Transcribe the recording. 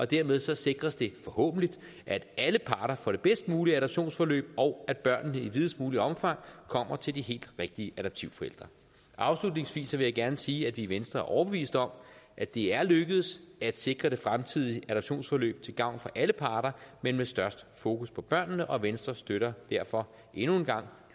dermed sikres det forhåbentlig at alle parter får det bedst mulige adoptionsforløb og at børnene i videst muligt omfang kommer til de helt rigtige adoptivforældre afslutningsvis vil jeg gerne sige at vi i venstre er overbevist om at det er lykkedes at sikre det fremtidige adoptionsforløb til gavn for alle parter men med størst fokus på børnene og venstre støtter derfor endnu en gang